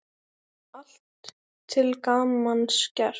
Allt til gamans gert.